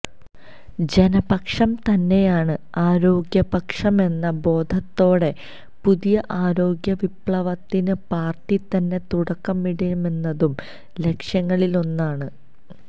ജനപക്ഷം തന്നെയാണ് ആരോഗ്യപക്ഷമെന്ന ബോധത്തോടെ പുതിയ ആരോഗ്യവിപ്ലവത്തിന് പാര്ട്ടിതന്നെ തുടക്കമിടണമെന്നതും ലക്ഷ്യങ്ങളിലൊന്നാണ്